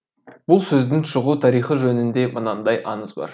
бұл сөздің шығу тарихы жөнінде мынандай аңыз бар